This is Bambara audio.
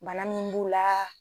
Bana min b'u la